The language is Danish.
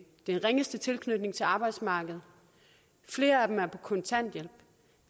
den ringeste tilknytning til arbejdsmarkedet flere af dem er på kontanthjælp